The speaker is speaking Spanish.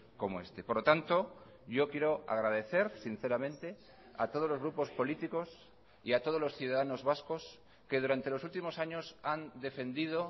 como este por lo tanto yo quiero agradecer sinceramente a todos los grupos políticos y a todos los ciudadanos vascos que durante los últimos años han defendido